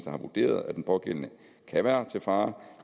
har vurderet at den pågældende kan være til fare